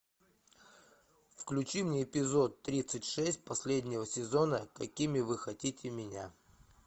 включи мне эпизод тридцать шесть последнего сезона какими вы хотите меня